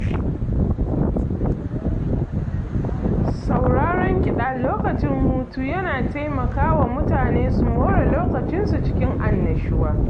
Sauraron kiɗa lokacin hutu yana taimaka wa mutane su more lokacin su cikin annashuwa